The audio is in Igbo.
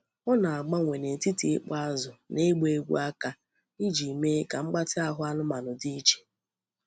Ọ na-agbanwe n'etiti ịkpọ azụ na ịgba egwú aka iji mee ka mgbatị ahụ anụmanụ dị iche.